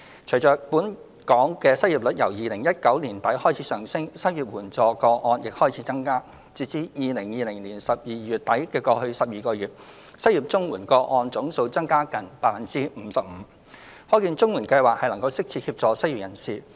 隨着本港失業率由2019年年底開始上升，失業綜援個案亦開始增加，截至2020年12月底的過去12個月，失業綜援個案總數增加近 55%， 可見綜援計劃能適切協助失業人士。